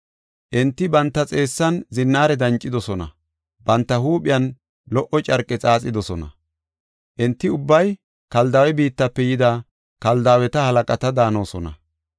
Enti banta xeessan zinnaare dancidosona; banta huuphiyan lo77o carqe xaaxidosona. Enti ubbay Kaldaawe biittafe yida Kaldaaweta halaqata daanosona.